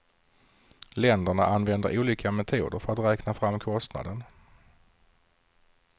Länderna använder olika metoder för att räkna fram kostnaden.